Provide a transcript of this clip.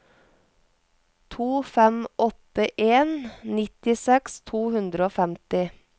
to fem åtte en nittiseks to hundre og femti